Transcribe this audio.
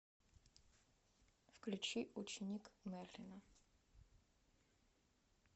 включи ученик мерлина